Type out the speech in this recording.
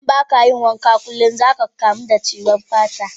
Idan ba ka yin wanka kulum, za ka kamu da cutar fata.